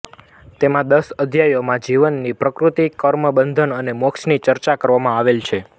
તેમાં દસ અધ્યાયોમાં જીવની પ્રકૃતિ કર્મ બંધન અને મોક્ષની ચર્ચા કરવામાં આવેલ છે